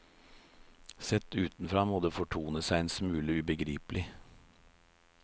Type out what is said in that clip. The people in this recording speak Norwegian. Sett utenfra må det fortone seg en smule ubegripelig.